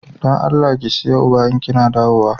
Da Allah ki siya "ugba" in Kina dawowa.